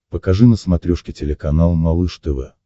покажи на смотрешке телеканал малыш тв